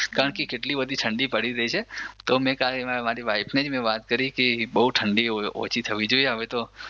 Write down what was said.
કારણ કે કેટલી બધી ઠંડી પડી રહી છે તો કાલે જ મે મારી વાઈફને જ મે વાત કરી તી બહુ ઠંડી ઓછી થવી જોઈએ આવે તો